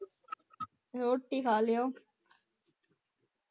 ਰੋਟੀ ਖਾ ਲਿਓ